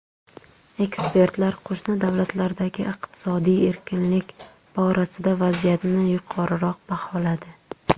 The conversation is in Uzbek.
Ekspertlar qo‘shni davlatlardagi iqtisodiy erkinlik borasida vaziyatni yuqoriroq baholadi.